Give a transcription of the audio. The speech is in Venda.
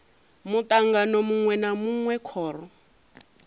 mutangano munwe na munwe khoro